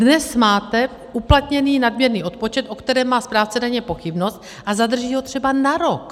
Dnes máte uplatněný nadměrný odpočet, o kterém má správce daně pochybnost, a zadrží ho třeba na rok.